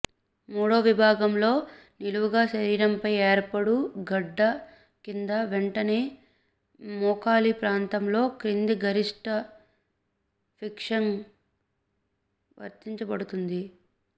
మూడో విభాగంలో నిలువుగా శరీరంపై ఏర్పడు గడ్డ కింద వెంటనే మోకాలి ప్రాంతంలో క్రింద గరిష్ట ఫిక్సింగ్ వర్తించబడుతుంది